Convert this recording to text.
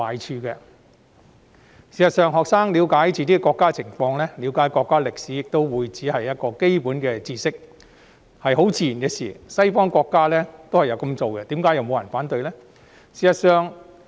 事實上，讓學生了解自己的國家及國家歷史只是基本知識，是自然不過的事，西方國家也有這樣做，並沒有人反對。